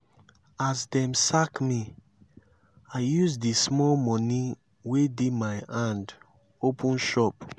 as dem sack me i use di small moni wey dey my hand open shop.